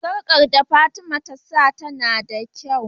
sarƙar da fatima ta sa tAna da kyau